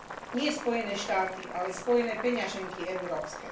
Nie Spojené štáty, ale Spojené peňaženky európske.